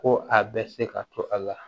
Ko a bɛ se ka to a la